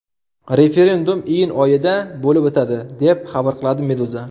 Referendum iyun oyida bo‘lib o‘tadi, deb xabar qiladi Meduza.